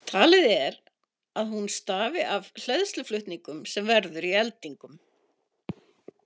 Talið er að hún stafi af hleðsluflutningnum sem verður í eldingum.